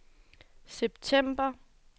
september